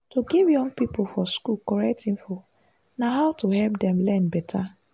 to give young pipo for school correct info na how to help dem learn better.